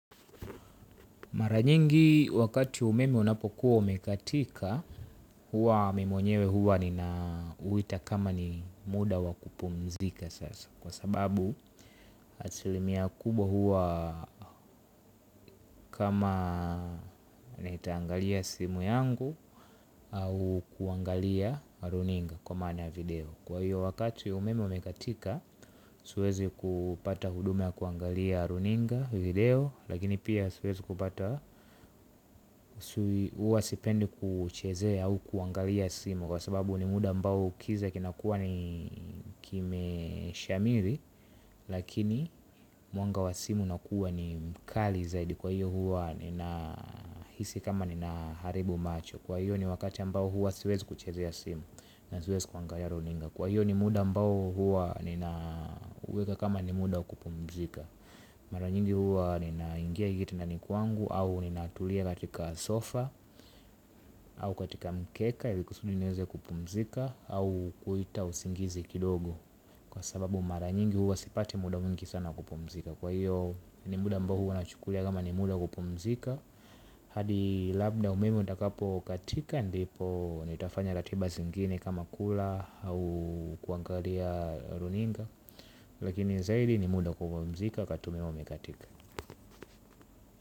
Mara nyingi wakati umeme unapokuwa umekatika huwa mimi mwenyewe huwa ninauita kama ni muda wa kupumzika sasa kwa sababu asilimia kubwa huwa kama nitaangalia simu yangu au kuangalia runinga kwa maana ya video. Kwa hiyo wakati umeme umekatika siwezi kupata huduma ya kuangalia runinga, video, lakini pia siwezi kupata huwa sipendi kuchezea au kuangalia simu kwa sababu ni muda ambao kiza kinakuwa ni kimeshamiri. Lakini mwanga wa simu unakuwa ni mkali zaidi kwa hiyo huwa ninahisi kama ninaharibu macho. Kwa hiyo ni wakati ambao huwa siwezi kuchezea simu na siwezi kuangalia runinga. Kwa hiyo ni muda ambao huwa nina uweka kama ni muda wa kupumzika. Mara nyingi huwa ninaingia kitandani kwangu au ninatulia katika sofa au katika mkeka ili niweze kupumzika au kuita usingizi kidogo. Kwa sababu mara nyingi huwa sipati muda mwingi sana kupumzika kwa hiyo ni muda ambao huwa nachukulia kama ni muda wa kupumzika hadi labda umeme utakapo katika ndipo nitafanya ratiba zingine kama kula au kuangalia runinga. Lakini zaidi ni muda wa kupumzika wakati umeme umekatika.